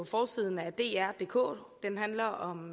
forsiden af drdk som handler om